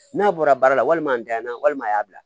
N'a bɔra baara la walima a danyana walima a y'a bila